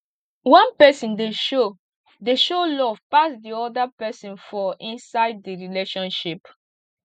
one person dey show dey show love pass di oda person for inside di relationship